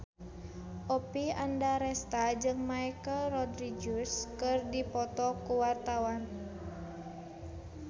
Oppie Andaresta jeung Michelle Rodriguez keur dipoto ku wartawan